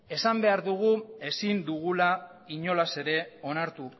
esan behar dugu ezin dugula inolaz ere onartu